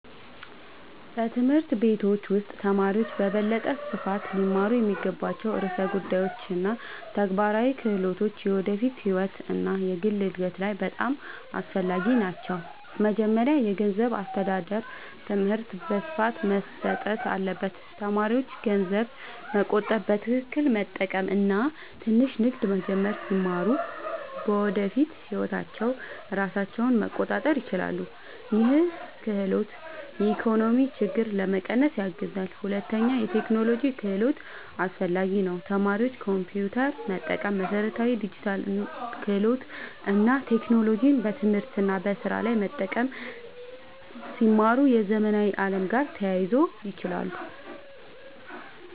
በትምህርት ቤቶች ውስጥ ተማሪዎች በበለጠ ስፋት ሊማሩ የሚገባቸው ርዕሰ ጉዳዮች እና ተግባራዊ ክህሎቶች የወደፊት ህይወት እና የግል እድገት ላይ በጣም አስፈላጊ ናቸው። መጀመሪያ የገንዘብ አስተዳደር ትምህርት በስፋት መሰጠት አለበት። ተማሪዎች ገንዘብ መቆጠብ፣ በትክክል መጠቀም እና ትንሽ ንግድ መጀመር ሲማሩ በወደፊት ህይወታቸው ራሳቸውን መቆጣጠር ይችላሉ። ይህ ክህሎት የኢኮኖሚ ችግኝትን ለመቀነስ ያግዛል። ሁለተኛ የቴክኖሎጂ ክህሎት አስፈላጊ ነው። ተማሪዎች ኮምፒውተር መጠቀም፣ መሠረታዊ ዲጂታል ክህሎት እና ቴክኖሎጂን በትምህርት እና በስራ ላይ መጠቀም ሲማሩ የዘመናዊ ዓለም ጋር ተያይዞ ይችላሉ።